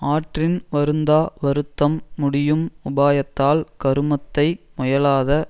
ஆற்றின் வருந்தா வருத்தம் முடியும் உபாயத்தால் கருமத்தை முயலாத